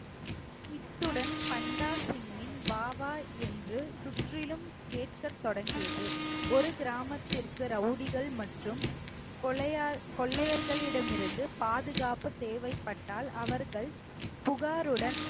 இத்துடன் பண்டாசிங்கின் வாவா என்று சுற்றிலும் கேட்கத் தொடங்கியது ஒரு கிராமத்திற்கு ரவுடிகள் மற்றும் கொள்ளையா~ கொள்ளையர்களிடம் இருந்து பாதுகாப்பு தேவைப்பட்டால் அவர்கள் புகாருடன்